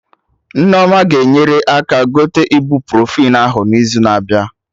Nneoma ga-enyere aka gote ibuprofen ahụ n'izu na abịa